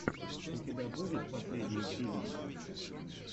у тебя будет последние фильмы